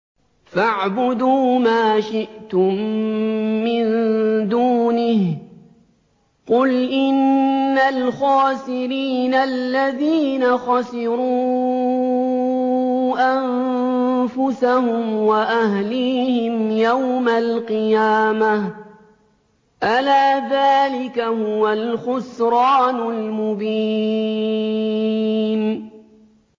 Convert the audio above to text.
فَاعْبُدُوا مَا شِئْتُم مِّن دُونِهِ ۗ قُلْ إِنَّ الْخَاسِرِينَ الَّذِينَ خَسِرُوا أَنفُسَهُمْ وَأَهْلِيهِمْ يَوْمَ الْقِيَامَةِ ۗ أَلَا ذَٰلِكَ هُوَ الْخُسْرَانُ الْمُبِينُ